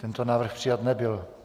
Tento návrh přijat nebyl.